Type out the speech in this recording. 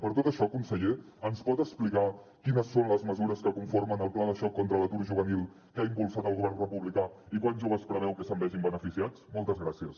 per tot això conseller ens pot explicar quines són les mesures que conformen el pla de xoc contra l’atur juvenil que ha impulsat el govern republicà i quants joves preveu que se’n vegin beneficiats moltes gràcies